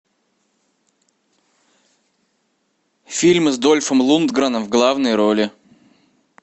фильмы с дольфом лундгреном в главной роли